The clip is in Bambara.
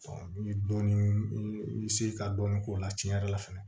i bɛ dɔɔni i bɛ se ka dɔɔnin k'o la tiɲɛ yɛrɛ la fɛnɛ